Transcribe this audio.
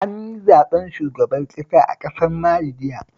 An yi zaɓen shugaban ƙasa a ƙasar Mali jiya